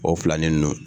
O filanin ninnu